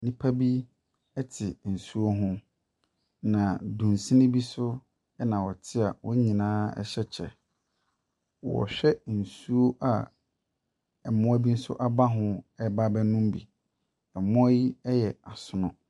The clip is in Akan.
Nnipa bi te nsuo ho, na dunsini bi so na wɔte a wɔn nyinaa hyɛ kyɛ. Wɔhwɛ nsuo a mmoa bi nso aba ho reba abɛnom bi. Mmoa yi yɛ asono.